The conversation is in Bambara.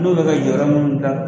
N'u bɛ ka yɔrɔ minnu gilan.